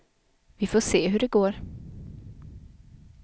Vi får se hur det går.